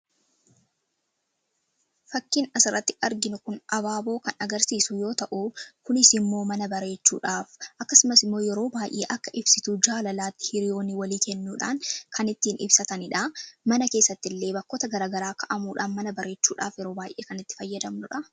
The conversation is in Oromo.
Fakkiin asirratti arginu kun Abaaboo kan agarsiisu yoo ta'u kunis immoo mana bareechuudhaaf akkasumas immoo yeroo baay'ee akka ibsituu jaalalaatti hiriyoonni walii kennuudhaan kan ittiin ibsatanidha. Mana keessatti illee bakkoota garaa garaa kaa'amuudhaan mana bareechuudhaaf yeroo baay'ee kan itti fayyadamnudha.